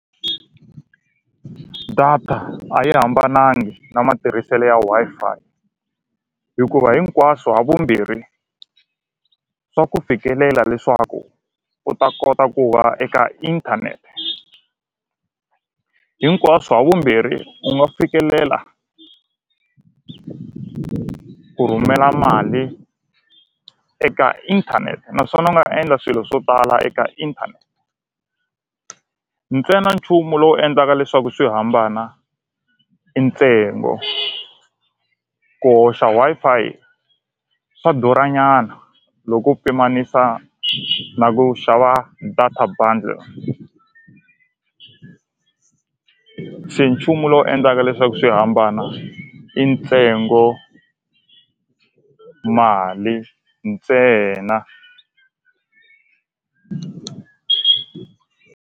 Data a yi hambanangi na matirhisele ya Wi-Fi hikuva hinkwaswo ha vumbirhi swa ku fikelela leswaku u ta kota ku va eka inthanete hinkwaswo ha vumbirhi u nga fikelela ku rhumela mali eka inthanete naswona u nga endla swilo swo tala eka inthanete ntsena nchumu lowu endlaka leswaku swi hambana i ntsengo ku hoxa Wi-Fi swa durha nyana loko u pimanisa na ku xava data bundle se nchumu lowu endlaka leswaku swi hambana i ntsengo mali ntsena.